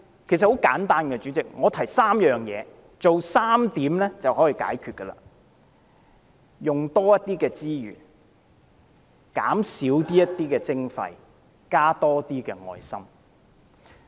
其實，很簡單，代理主席，只需做3件事，便可以解決，就是用多些資源、減少一點徵費，以及多加一點愛心。